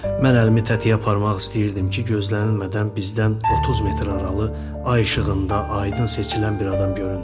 Mən əlimi tətiyə aparmaq istəyirdim ki, gözlənilmədən bizdən 30 metr aralı ay işığında aydın seçilən bir adam göründü.